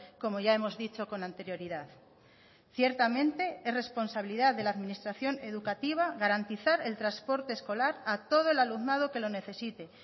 como ya hemos dicho con anterioridad ciertamente es responsabilidad de la administración educativa garantizar el transporte escolar a todo el alumnado que lo necesite